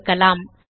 சொடுக்கலாம்